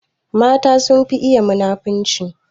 Mata sun fi iya munafunci